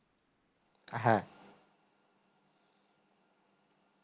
হ্যাঁ